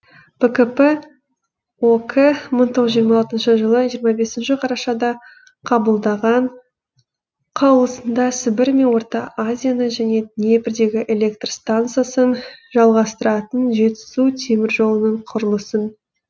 бкп ок мың тоғыз жүз жиырма алтыншы жылы жиырма бесінші қарашада қабылдаған қаулысында сібір мен орта азияны және днепрдегі электр стансасын жалғастыратын жетісу теміржолының құрылысын